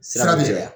Sira bi caya